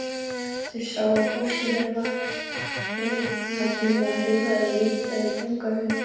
Þeir sáu að fólkið þeirra var reglulega hrifið af litla búgarðinum.